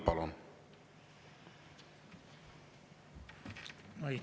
Palun!